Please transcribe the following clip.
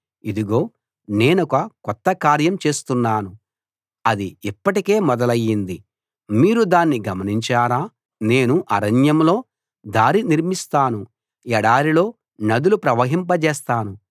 ఇదిగో నేనొక కొత్త కార్యం చేస్తున్నాను అది ఇప్పటికే మొదలైంది మీరు దాన్ని గమనించరా నేను అరణ్యంలో దారి నిర్మిస్తాను ఎడారిలో నదులు ప్రవహింపజేస్తాను